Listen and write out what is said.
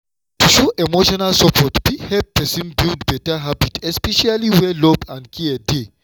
to show emotional support fit help person build better habit especially where love and care dey.